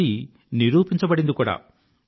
అది నిరూపించబడింది కూడా